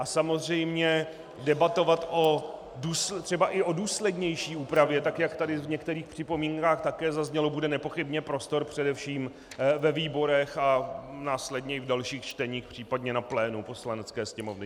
A samozřejmě debatovat třeba i o důslednější úpravě, tak jak tady v některých připomínkách také zaznělo, bude nepochybně prostor především ve výborech a následně i v dalších čteních, případně na plénu Poslanecké sněmovny.